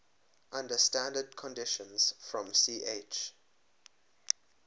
under standard conditions from ch